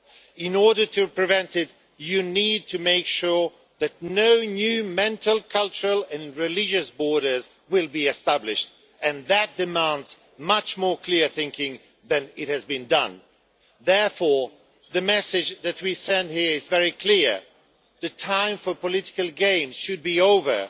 In order to prevent it, you need to make sure that no new mental, cultural and religious borders are established, and that demands much clearer thinking than has been the case so far. Therefore, the message that we send here is very clear the time for political games should be over.